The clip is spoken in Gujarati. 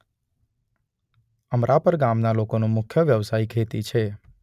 અમરાપર ગામના લોકોનો મુખ્ય વ્યવસાય ખેતી છે.